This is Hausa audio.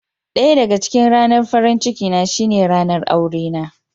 Daya daga cikin ranar farin ciki na shine ranan aure ta.